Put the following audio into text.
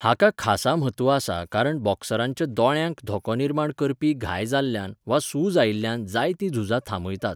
हाका खासा म्हत्व आसा कारण बॉक्सरांच्या दोळ्यांक धोको निर्माण करपी घाय जाल्ल्यान वा सुज आयिल्ल्यान जायतीं झुजां थांबयतात.